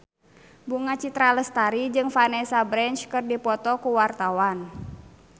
Bunga Citra Lestari jeung Vanessa Branch keur dipoto ku wartawan